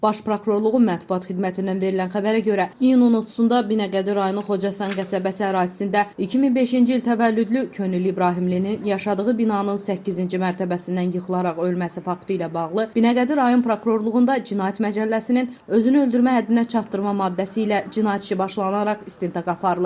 Baş Prokurorluğun mətbuat xidmətindən verilən xəbərə görə iyunun 30-da Binəqədi rayonu Xocasən qəsəbəsi ərazisində 2005-ci il təvəllüdlü Könül İbrahimlinin yaşadığı binanın səkkizinci mərtəbəsindən yıxılaraq ölməsi faktı ilə bağlı Binəqədi rayon Prokurorluğunda Cinayət Məcəlləsinin özünü öldürmə həddinə çatdırma maddəsi ilə cinayət işi başlanaraq istintaq aparılır.